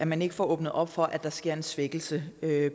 man ikke får åbnet op for at der sker en svækkelse